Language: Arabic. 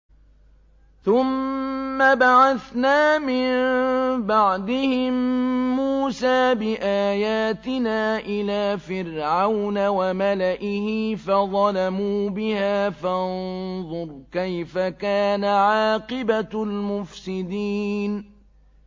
ثُمَّ بَعَثْنَا مِن بَعْدِهِم مُّوسَىٰ بِآيَاتِنَا إِلَىٰ فِرْعَوْنَ وَمَلَئِهِ فَظَلَمُوا بِهَا ۖ فَانظُرْ كَيْفَ كَانَ عَاقِبَةُ الْمُفْسِدِينَ